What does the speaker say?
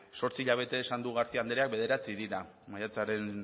zortzi hilabete esan du garcía andreak bederatzi dira maiatzaren